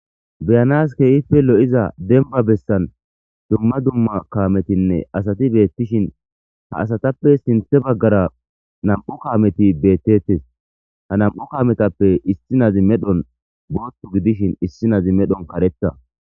beyanas keeyife lo7iza denba bessan dumma dumma kaametinne asati beettishin ha asatappe sinthe baggara nam7u kaameti beettettes ha nam7u kaametappe issinazi medhon boothtu gidishin issi nazi medhon kareta